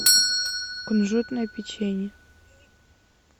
кунжутное печенье